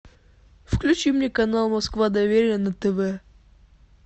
включи мне канал москва доверие на тв